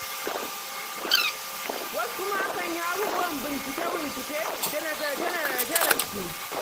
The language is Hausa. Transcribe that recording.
Wasu kuma akan yi abubuwan bincike-bincike da nazarce-nazarce da su.